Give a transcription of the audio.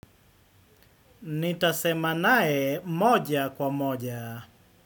Nitasemanae moja kwa moja.